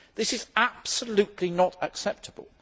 This is absolutely not acceptable.